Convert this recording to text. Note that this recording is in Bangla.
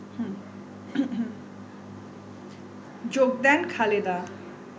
যোগ দেন খালেদা